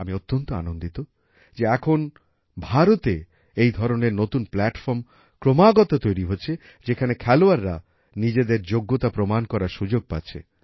আমি অত্যন্ত আনন্দিত যে এখন ভারতে এই ধরনের নতুন প্ল্যাটফর্ম ক্রমাগত তৈরি হচ্ছে যেখানে খেলোয়াড়রা নিজেদের যোগ্যতা প্রমাণ করার সুযোগ পাচ্ছে